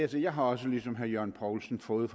jeg har også ligesom herre jørgen poulsen fået